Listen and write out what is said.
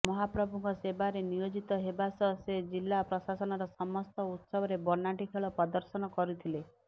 ମହାପ୍ରଭୁଙ୍କ ସେବାରେ ନିୟୋଜିତ ହେବା ସହ ସେ ଜିଲ୍ଲା ପ୍ରଶାସନର ସମସ୍ତ ଉତ୍ସବରେ ବନାଟି ଖେଳ ପ୍ରଦର୍ଶନ କରୁଥିଲେ